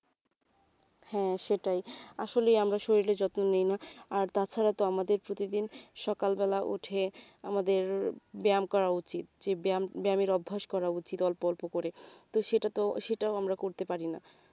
হ্যাঁ সেটাই আসলেই আমরা আমাদের শরীরের যত্ন নি না আর তাছাড়া তো আমাদের প্রতিদিন সকালবেলা উঠে আমাদের ব্যায়াম করা উচিত যে ব্যায়াম ব্যায়ামের অভ্যেস করা উচিত অল্প অল্প করে তো সেটা তো আমরা করতে পারিনা